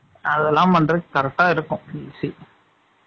அதெல்லாம் பண்றதுக்கு correct ஆ இருக்கும். PC